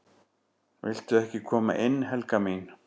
"""VILTU EKKI KOMA INN, HELGA MÍN!"""